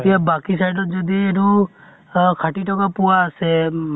এতিয়া বাকী side ত যদি এইটো আহ ষাঠি টকা পোঁৱা আছে